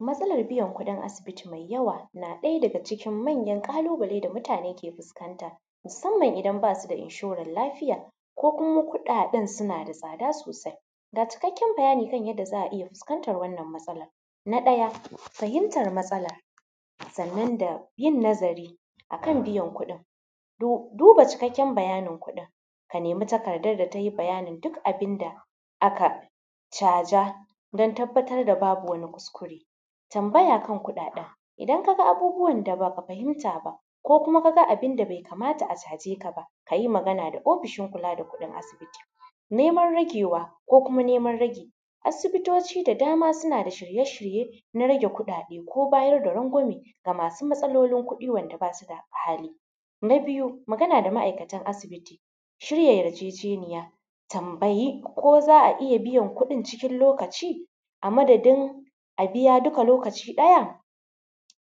Matsalar biyan kuɗin asibiti mai yawa na ɗaya daga cikin manyan ƙalubale da mutane ke fuskanta musamman idan ba su da inshoran lafiya ko kuma kuɗaɗen suna da tsada sosai. Ga cikakken bayani kan yanda za a iya fuskantar wannan matsalar na ɗaya fahimtar matsalan sannan da yin nazari akan biyan kuɗin, duba cikakken bayanin kuɗin ka nema takardar da ta yi duk bayanin da aka caja dan tabbatar da babu wani kuskure, tambaya kan kuɗaɗen idan ka ga abubuwan da ba ka fahimta ba ko kuma ka ga abun da bai kamata a caje ka ka yi magana da ofishin kula da kuɗin asibiti. Neman ragewa ko kuma neman ragi, asibitoci da dama suna da shirye-shirye na rage kuɗaɗe ko bayar da rangwame ga masu matsalolin kuɗi wanda ba su da hali, na biyu magana da ma’aikatan asibiti, shirya yarjejeniya, tambayi ko za a iya biyan kuɗin cikin lokaci a madadin a biya duka lokaci ɗaya.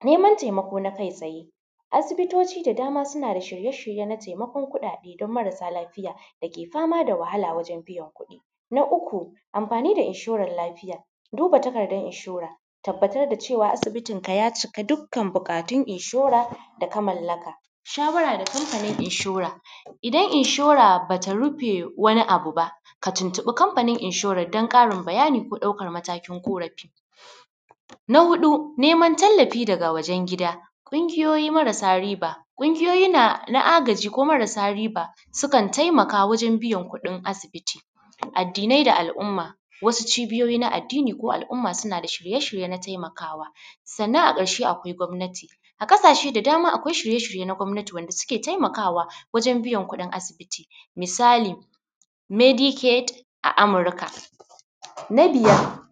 Neman taimako na kai tsaye, asibitoci da dama suna da shirye-shirye na taimakon kuɗaɗe dan marasa lafiya da ke fama da wahala wajen biyan kuɗi, na uku amfani da inshoran lafiya, duba takardar inshore, tabbatar da cewa asibitinka ya cika dukkan buƙatun inshora da ka mallaka, shawara da kamfanin inshora idan inshoa ba ta rufe wani abu ka tuntuɓi kamfanin inshoran dan ƙarin bayani ko ɗaukar matakin ƙorafi. Na huɗu neman tallafi daga wajen gida, ƙungiyoyi marasa riba, ƙungiyoyi na agaji, ko marasa riba sukan taimaka wajen biyan kuɗin asibiti addinai da al’umma wasu cibiyoyi na addini ko al’umma suna da shirye-shirye na taimakawa, sannan ƙarshe akwai gwamnati a ƙasashe da dama akwai shirye-shirye na gwamnati wanda suke taimakawa wajen biyan kuɗin asibiti misali Medicate a Amurka na biyan.